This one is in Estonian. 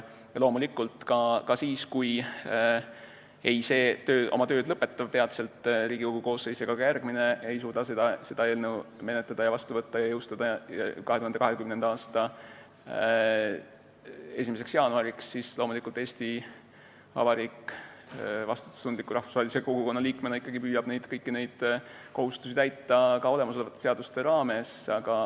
Aga loomulikult, kui see oma tööd lõpetav Riigikogu koosseis ega ka järgmine ei suuda seda eelnõu menetleda, seadusena vastu võtta ja jõustada 2020. aasta 1. jaanuariks, siis Eesti Vabariik püüab rahvusvahelise kogukonna vastutustundliku liikmena ikkagi kõiki neid kohustusi täita ka olemasolevatele seadustele toetudes.